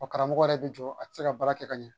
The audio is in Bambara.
Ɔ karamɔgɔ yɛrɛ bɛ jɔ a tɛ se ka baara kɛ ka ɲɛ